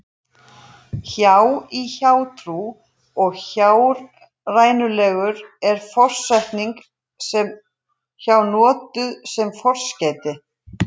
Hjá- í hjátrú og hjárænulegur er forsetningin hjá notuð sem forskeyti.